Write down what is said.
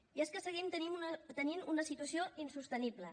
i és que seguim tenint una situació insostenible